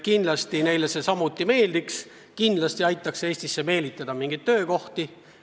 Muidugi neilegi see meeldiks ja muidugi aitaks see Eestisse meelitada mingeid töökohti.